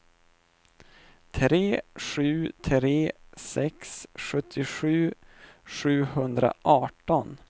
tre sju tre sex sjuttiosju sjuhundraarton